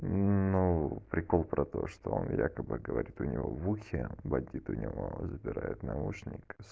ну прикол про то что он якобы говорит у него в ухе бандит у него забирает наушник